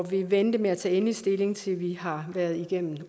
vil vente med at tage endelig stilling til vi har været igennem